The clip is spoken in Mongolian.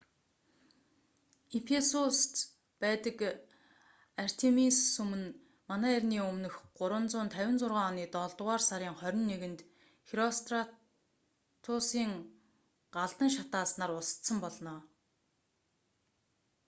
ефисуст байдаг артемис сүм нь мэө 356 оны долдугаар сарын 21-нд херостратусийн галдан шатаасанаар устсан болно